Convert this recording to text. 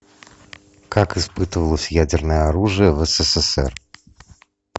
как испытывалось ядерное оружие в ссср